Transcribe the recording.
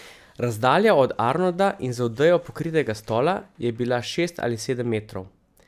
Razdalja od Arnolda in z odejo pokritega stola je bila šest ali sedem metrov.